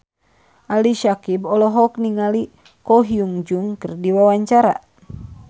Ali Syakieb olohok ningali Ko Hyun Jung keur diwawancara